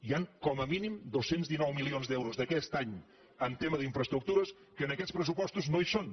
hi han com a mínim dos cents i dinou milions d’euros d’aquest any en tema d’infraestructures que en aquests pressupostos no hi són